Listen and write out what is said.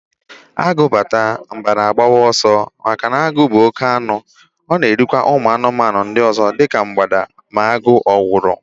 Agụ bata, mgbada agbawa ọsọ, maka na agụ bụ oke anụ, ọ na eri kwa umu anụmanụ ndị ọzọ dị ka mgbada ma agụ owuru